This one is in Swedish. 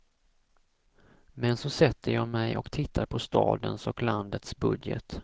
Men så sätter jag mig och tittar på stadens och landets budget.